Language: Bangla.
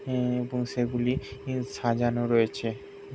এএ এবং সেগুলি সাজানো রয়েছে ।